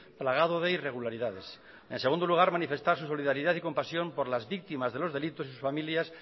plagado de irregularidades en segundo lugar manifestar su solidaridad y compasión por las víctimas de los delitos y sus familias